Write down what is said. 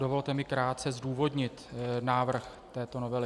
Dovolte mi krátce zdůvodnit návrh této novely.